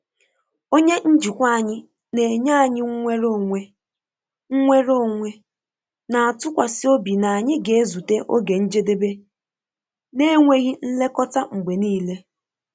Onye njikwa anyị na-enye anyị nnwere onwe, nnwere onwe, na-atụkwasị obi na anyị ga-ezute oge njedebe na-enweghị nlekọta mgbe niile.